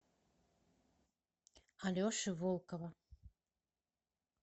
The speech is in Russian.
алеши волкова